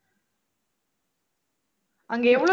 அங்க எவ்ளோ